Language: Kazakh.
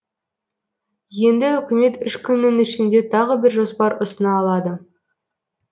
енді үкімет үш күннің ішінде тағы бір жоспар ұсына алады